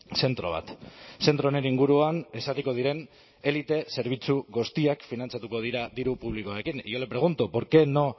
zentro bat zentro honen inguruan ezarriko diren elite zerbitzu guztiak finantzatuko dira diru publikoarekin y yo le pregunto por qué no